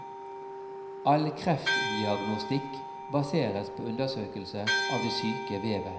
All kreftdiagnostikk baseres på undersøkelse av det syke vevet.